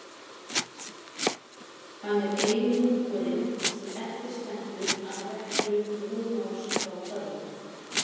Hann er eini munkurinn sem eftir stendur af reglu Brúnós frá Köln.